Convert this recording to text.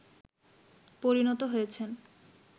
পরিণত হয়েছেন